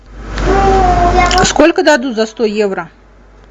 сколько дадут за сто евро